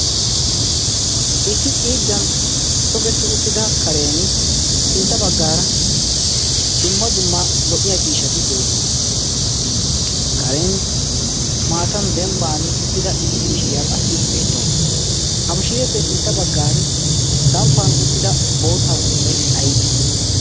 issi xiiddan togetti uttida karen sintta baggaara dumma dumma lo'iya ciishati de' oosona. karen maatan dembban uttida issi mishiriyaa qassi beettawu. su ha mishireeppe sintta baggan samppan uttida boottaa sunttay ayba?